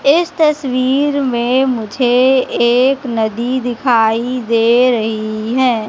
इस तस्वीर में मुझे एक नदी दिखाई दे रही है।